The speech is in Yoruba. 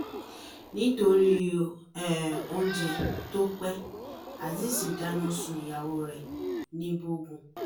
nítorí um oúnjẹ tó pe azeez dáná sun ìyàwó ẹ̀ nìbógun